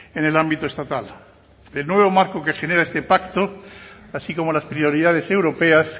en el ámbito estatal el nuevo marco que genera este pacto así como las prioridades europeas